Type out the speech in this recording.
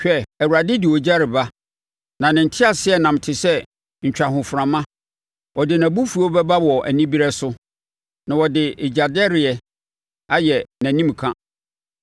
Hwɛ, Awurade de ogya reba, na ne nteaseɛnam te sɛ ntwahoframa; ɔde nʼabufuo bɛba wɔ anibereɛ so, na ɔde gyadɛreeɛ ayɛ nʼanimka.